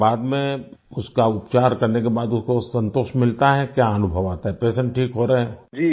और बाद में उसका उपचार करने के बाद उसको संतोष मिलता है क्या अनुभव आता है पेशेंट ठीक हो रहे हैं